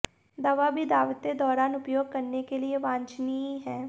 दवा भी दावतें दौरान उपयोग करने के लिए वांछनीय है